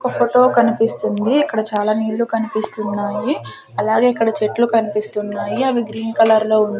ఒక ఫోటో కనిపిస్తుంది అక్కడ చాలా నీళ్ళు కనిపిస్తున్నాయి అలాగే ఇక్కడ చెట్లు కనిపిస్తున్నాయి అవి గ్రీన్ కలర్ లో ఉన్నా--